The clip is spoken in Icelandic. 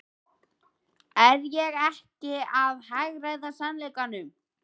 Er ég ekki að hagræða sannleikanum?